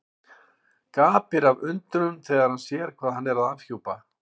Gapir af undrun þegar hann sér hvað hann er að afhjúpa.